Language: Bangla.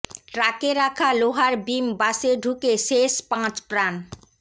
ট্রাকে রাখা লোহার বিম বাসে ঢুকে শেষ পাঁচ প্রাণ